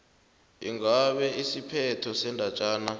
ingabe isiphetho sendatjana